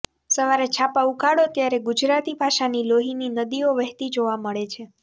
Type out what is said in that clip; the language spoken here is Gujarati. સવારે છાપાં ઉઘાડો ત્યારે ગુજરાતી ભાષાની લોહીની નદીઓ વહેતી જોવા મળે છે